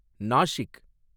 Nashik